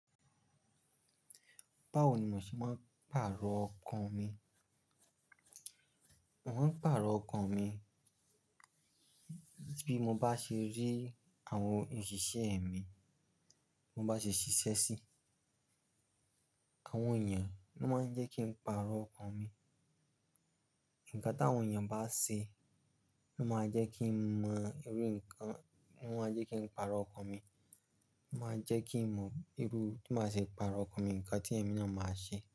Báwo ni mo ṣe máa ń pàrọ̀ ọkàn mi? Mo máa ń pàrọ̀ ọkàn mi bí mo bá ṣe rí àwọn òṣìṣẹ́ mi, mo bá ṣe ṣiṣẹ́ sí àwọn èèyàn, ní ó máa ń jẹ́ kí n pàrọ̀ ọkàn mi. Ǹká tí àwọn èèyàn bá ṣe ni ó máa jẹ́ kí n mọ irú nǹkan, ni ó máa jẹ́ kí n pàrọ̀ ọkàn mi, ó máa jẹ́ kí n mọ irú, tí ó máa ṣe pàrọ̀ ọkàn mi, ǹkan tí ẹ̀mí náà máa ṣe.